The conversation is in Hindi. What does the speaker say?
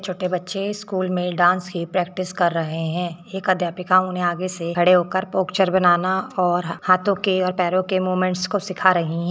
छोटे बच्चे स्कूल में डांस की प्रैक्टिस कर रहे हैं एक अध्यापिका उन्हें आगे से खड़े होकर पोस्चर बनाना और हाथों के और पैरों के मूवमेंट्स को सीखा रही है।